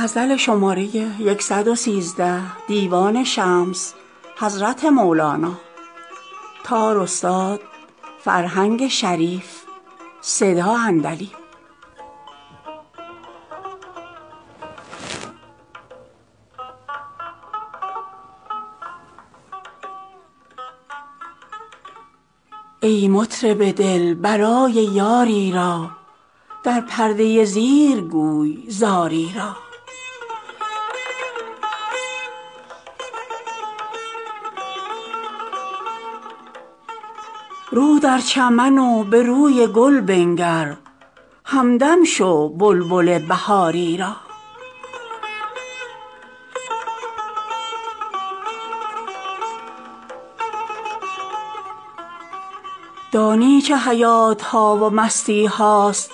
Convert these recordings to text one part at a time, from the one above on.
ای مطرب دل برای یاری را در پرده زیر گوی زاری را رو در چمن و به روی گل بنگر همدم شو بلبل بهاری را دانی چه حیات ها و مستی هاست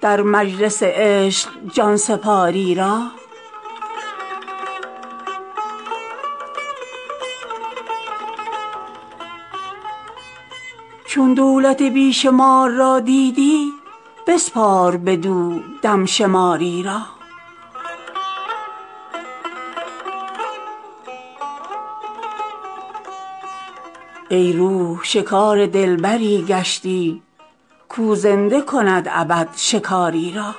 در مجلس عشق جان سپاری را چون دولت بی شمار را دیدی بسپار بدو دم شماری را ای روح شکار دلبری گشتی کاو زنده کند ابد شکاری را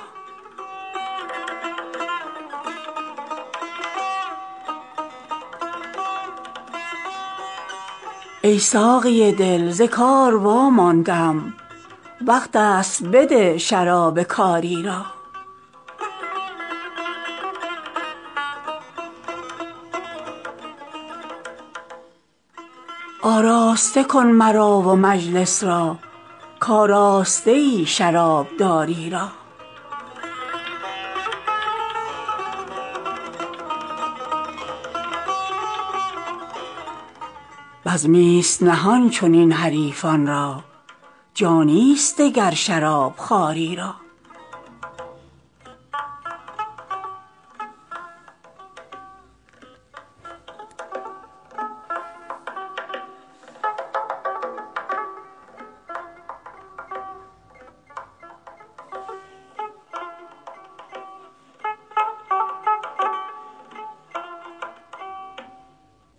ای ساقی دل ز کار واماندم وقت است بده شراب کاری را آراسته کن مرا و مجلس را کآراسته ای شرابداری را بزمی ست نهان چنین حریفان را جانی ست دگر شراب خواری را